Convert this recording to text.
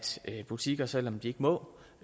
butikker selv om de ikke må